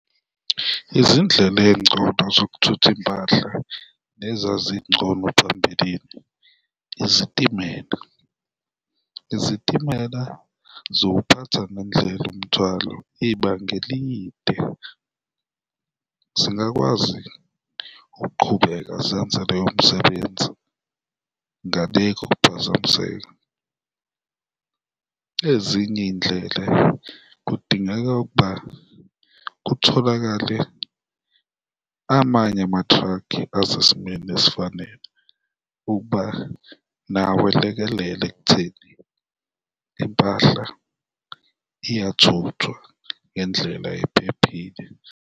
Izindlela ey'ngcono zokuthutha impahla nezazingcono phambilini izitimela. Izitimela ziwuphatha nendlela umthwalo ibanga elide, zingakwazi ukuqhubeka zenze loyomsebenzi ngale kokuphazamiseka. Ezinye iy'ndlela, kudingeka ukuba kutholakale amanye ama-truck-i asesimeni esifanele ukuba nawo elekelele ekutheni impahla iyathuthwa ngendlela ephephile.